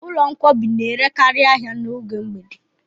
Ụlọ nkwọbi n'erekari ahịa n'oge mgbede